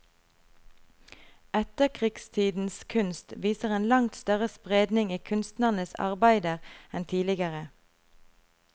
Etterkrigstidens kunst viser en langt større spredning i kunstnernes arbeider enn tidligere.